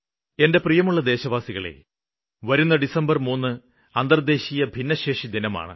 എന്റെ പ്രിയമുള്ള ദേശവാസികളേ വരുന്ന ഡിസംബര് 3 അന്തര്ദേശീയ ഭിന്നശേഷിദിനമാണ്